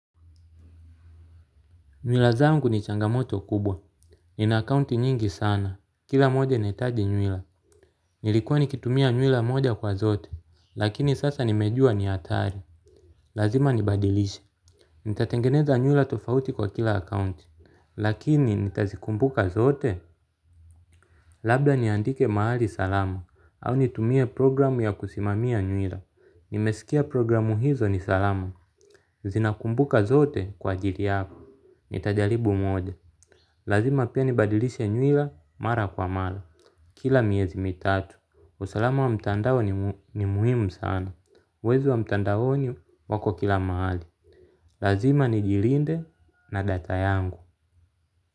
Nywila zangu ni changamoto kubwa. Ni na akaunti nyingi sana. Kila moja inahitaji nywila. Nilikuwa nikitumia nywila moja kwa zote. Lakini sasa nimejua ni hatari. Lazima nibadilishe. Nitatengeneza nywila tofauti kwa kila akaunti. Lakini nitazikumbuka zote? Labda niandike mahali salama. Au nitumie programu ya kusimamia nywila. Nimesikia programu hizo ni salama. Zinakumbuka zote kwaa ajili hako. Nitajaribu moja. Lazima pia nibadilishe nywila mara kwa mara. Kila miezi mitatu usalama wa mtandao ni muhimu sana. Wezi wa mtandao ni wako kila mahali. Lazima ni jilinde na data yangu.